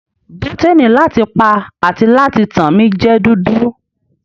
Bọ́tíni láti pa àti láti tàn mi jẹ́ dúdú.